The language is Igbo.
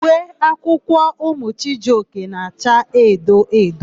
Uwe akwụkwọ ụmụ Chijioke na-acha edo edo.